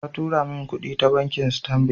Ta tura min kudi ta bankin Stanbic